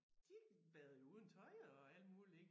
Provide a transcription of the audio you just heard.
De badede jo uden tøj og alt muligt ik